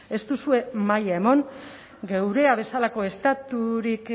ez duzue maila eman geurea bezalako estaturik